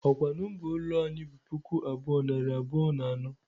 Ọ kwa nọmba ụlọ anyị bụ puku abuo, nari abụọ na anọ?